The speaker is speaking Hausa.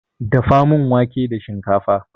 Dafa mana wanke da shikafa